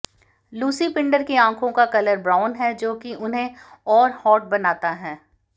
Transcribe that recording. Lucy Pinder की आंखों का कलर ब्राउन है जो कि उन्हें और हॉट बनाता है